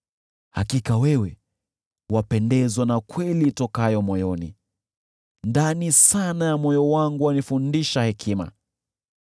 Hakika wewe wapendezwa na kweli itokayo moyoni, ndani sana ya moyo wangu wanifundisha hekima.